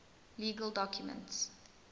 legal documents